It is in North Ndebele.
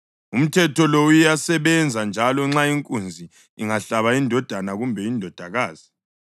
Umthetho lo uyasebenza njalo nxa inkunzi ingahlaba indodana kumbe indodakazi.